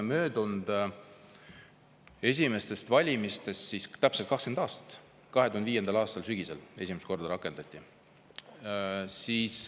Esimestest e-valimistest möödas täpselt 20 aastat: 2005. aastal sügisel need esimest korda rakendati.